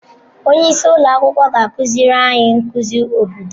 Onye isi ụlọ akwụkwọ ga-akụziri anyị nkuzi obodo.